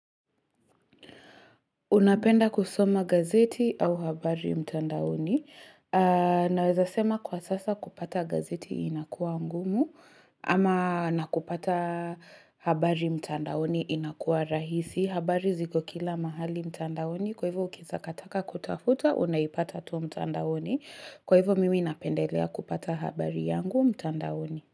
Unapenda kusoma gazeti au habari mtandaoni. Naweza sema kwa sasa kupata gazeti inakua ngumu ama nakupata habari mtandaoni inakua rahisi. Habari ziko kila mahali mtandaoni kwa hivyo ukieza kataka kutafuta unaipata tu mtandaoni. Kwa hivyo mimi napendelea kupata habari yangu mtandaoni.